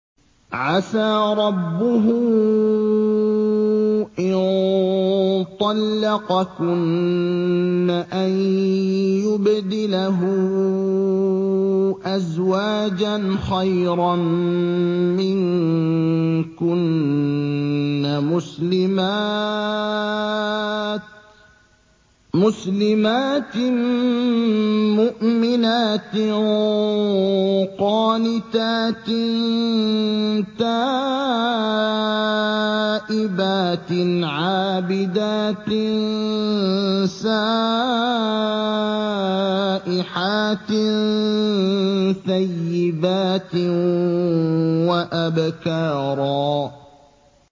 عَسَىٰ رَبُّهُ إِن طَلَّقَكُنَّ أَن يُبْدِلَهُ أَزْوَاجًا خَيْرًا مِّنكُنَّ مُسْلِمَاتٍ مُّؤْمِنَاتٍ قَانِتَاتٍ تَائِبَاتٍ عَابِدَاتٍ سَائِحَاتٍ ثَيِّبَاتٍ وَأَبْكَارًا